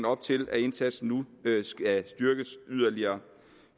op til at indsatsen nu skal styrkes yderligere